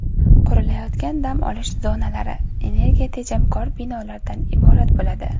Qurilayotgan dam olish zonalari energiyatejamkor binolardan iborat bo‘ladi.